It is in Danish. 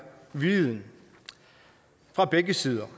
viljen fra begge sider